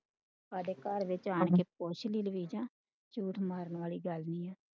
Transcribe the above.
ਹਾਡੇ ਘਰ ਦੇ ਵਿੱਚ ਅੱਜ ਪੁੱਛ ਕੇ ਵੇਖਲਾ ਝੂਠ ਮਾਰਨ ਵਾਲੀ